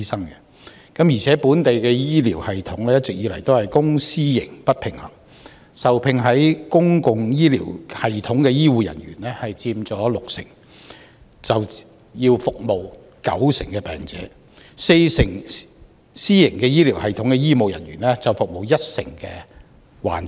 另一方面，本地公私營醫療系統一直不平衡，受聘於公營醫療系統的醫護人員佔六成，但要服務九成患者，受聘於私營醫療系統的四成醫護人員，則服務一成患者。